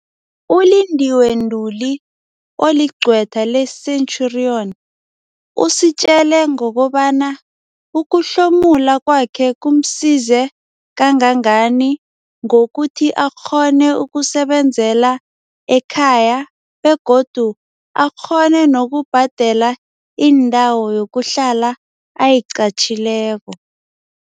ULindiwe Ntuli, oligcwetha le-Centurion, usitjele ngokobana ukuhlomula kwakhe kumsize kangangani ngokuthi akghone ukusebenzela ekhaya begodu akghone nokubhadela indawo yokuhlala ayiqatjhileko.